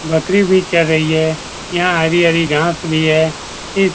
बकरी भी चर रही है यहां हरी-हरी घांस भी है इस --